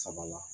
Saba la